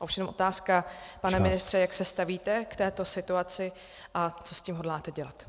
A už jen otázka , pane ministře: jak se stavíte k této situaci a co s tím hodláte dělat?